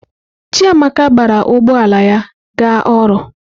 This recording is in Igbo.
Chiamaka gbara ụgbọ ala ya ga ọrụ.